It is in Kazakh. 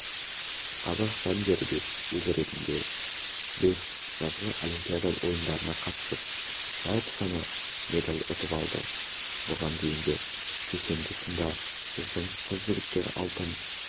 қазақстан дербес ел ретінде бес жазғы олимпиада ойындарына қатысып жалпы саны медаль ұтып алды бұған дейінгі кешенді сында біздің қыз-жігіттер алтын